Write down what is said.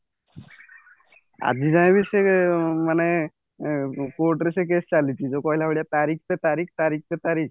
ଆଜି ଯାଏ ବି ସିଏ ମାନେ court ରେ ସେଇ case ଚାଲିଛି ଯୋଉ କହିଲା ଭଳିଆ ତାରିଖ ସେ ତାରିଖ ତାରିଖ ସେ ତାରିଖ